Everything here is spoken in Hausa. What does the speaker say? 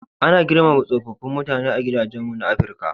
Ana girmama tsofaffin mutane a gidajenmu na Afrika.